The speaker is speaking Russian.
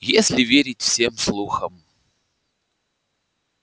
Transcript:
если верить всем слухам